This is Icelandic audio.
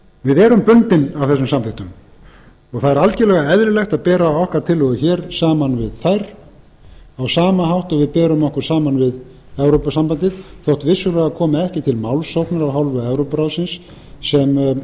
við erum bundin af þessum samþykktum og það er algjörlega eðlilegt að bera okkar tillögur hér saman við þær á sama hátt og við berum okkur saman við evrópusambandið þótt vissulega komi ekki til málsóknar af hálfu evrópuráðsins sem var